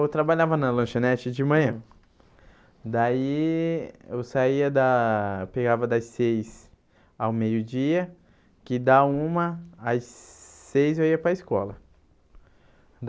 Eu trabalhava na lanchonete de manhã, daí eu saía da, pegava das seis ao meio-dia, que dá uma, às seis eu ia para a escola.